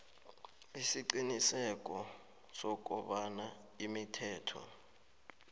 isiqiniseko sokobana imithetho